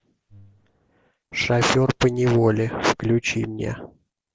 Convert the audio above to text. шофер поневоле включи мне